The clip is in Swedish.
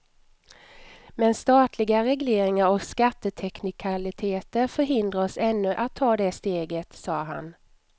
Men statliga regleringar och skatteteknikaliteter förhindrar oss ännu att ta det steget, sade han.